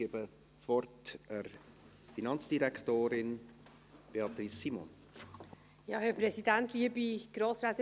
Ich erteile der Finanzdirektorin, Beatrice Simon, das Wort.